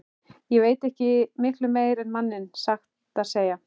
Ég veit ekki miklu meira um manninn, satt að segja.